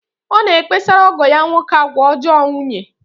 Ọ na-ekpesara ọgọ ya nwoke agwa ọjọọ nwunye.